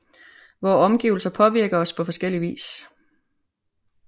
Vore omgivelser påvirker os på forskellig vis